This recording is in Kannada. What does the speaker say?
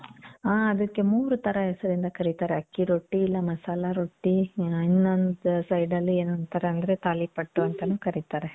ಆ. ಅದಕ್ಕೆ ಮೂರ್ ಥರ ಹೆಸರಿಂದ ಕರೀತಾರೆ. ಅಕ್ಕಿ ರೊಟ್ಟಿ, ಇಲ್ಲ ಮಸಾಲ ರೊಟ್ಟಿ, ಆ ಇನ್ನೊಂದು side ಅಲ್ಲಿ ಏನೊ ಅಂತರಲ್ರಿ ತಾಲಿಪಟ್ಟು ಅಂತಾನು ಕರೀತಾರೆ.